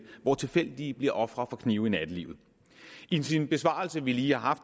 hvor tilfældige bliver ofre for knive i nattelivet i den besvarelse vi lige har